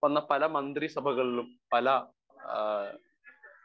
speaker 1 വന്ന പല മന്ത്രിസഭകളിലും പല ഹാ